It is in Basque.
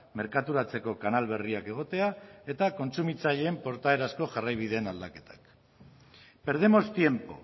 merkaturatzeko kanal berriak egotea eta kontsumitzaileen portaerazko jarraibideen aldaketak perdemos tiempo